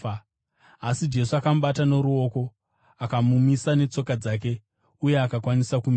Asi Jesu akamubata noruoko akamumisa netsoka dzake, uye akakwanisa kumira.